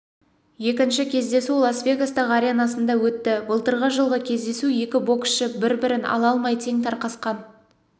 екінші кездесу лас вегастағыі аренасында өтті былтырғы жылғы кездесу екі боксшы бір-бірін ала алмай тең тарқасқан